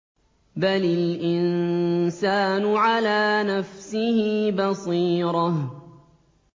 بَلِ الْإِنسَانُ عَلَىٰ نَفْسِهِ بَصِيرَةٌ